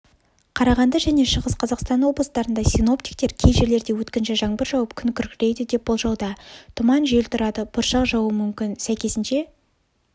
қарағанды және шығыс қазақстаноблыстарында синоптиктер кей жерлерде өткінші жаңбыр жауып күн күркірейді деп болжауда тұман жел тұрады бұршақ жаууы мүмкін сәйкесінше